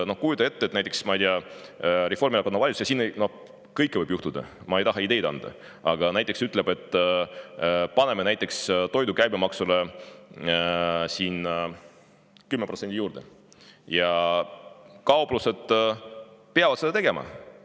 Kujuta ette, ma ei tea, et näiteks Reformierakonna valitsus – siin võib kõike juhtuda, ma ei taha küll ideid anda – ütleb, et paneme toidu käibemaksule 10% juurde, ja kauplused peavad seda tegema.